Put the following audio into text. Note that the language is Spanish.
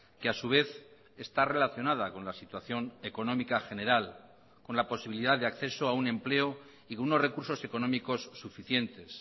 que a su vez está relacionada con la situación económica general con la posibilidad de acceso a un empleo y con unos recursos económicos suficientes